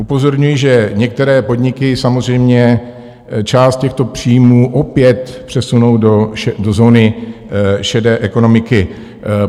Upozorňují, že některé podniky samozřejmě část těchto příjmů opět přesunou do zóny šedé ekonomiky.